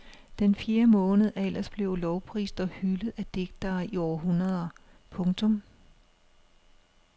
Den fjerde måned er ellers blevet lovprist og hyldet af digtere i århundreder. punktum